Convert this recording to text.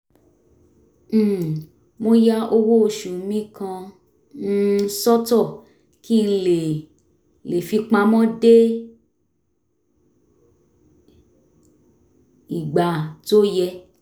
um mo ya owó oṣù mi kan um sọ́tọ̀ kí n lè lè fi pamọ́ dé ìgbà tó yẹ